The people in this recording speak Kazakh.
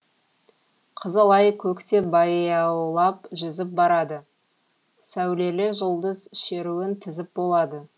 қызыл ай көкте баяулап жүзіп барады сәулелі жұлдыз шеруін тізіп болады